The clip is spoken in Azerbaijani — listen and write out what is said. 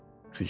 Güclə.